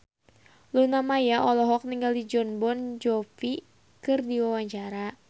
Luna Maya olohok ningali Jon Bon Jovi keur diwawancara